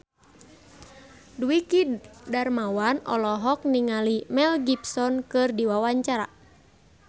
Dwiki Darmawan olohok ningali Mel Gibson keur diwawancara